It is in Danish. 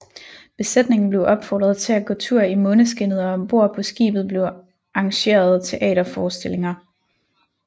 Besætningen blev opfordret til at gå tur i måneskinnet og ombord på skibet blev arrangeret teaterforestillinger